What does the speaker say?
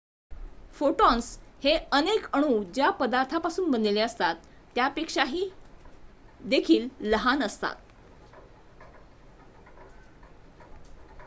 photons हे अनेक अणु ज्या पदार्थापासून बनलेले असतात त्यापेक्षा देखील लहान असतात